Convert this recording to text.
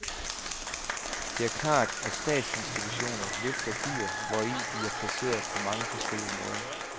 Det er klart at statsinstitutioner løfter byer, hvori de er placeret, på mange forskellige måder.